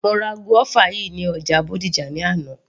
Mo ra guava yìí ní ọjà Bódìjà ní àná